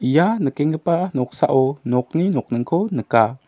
ia nikenggipa noksao nokni nokningko nika.